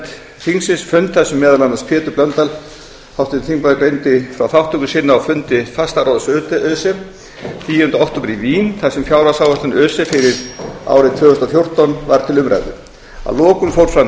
þingsins fund þar sem meðal annars pétur h blöndal háttvirtur þingmaður greindi frá þátttöku sinni á fundi fastaráðs öse tíunda október í vín þar sem fjárhagsáætlun öse fyrir árið tvö þúsund og fjórtán var til umræðu að lokum fór fram